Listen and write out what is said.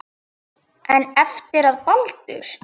En eftir að Baldur.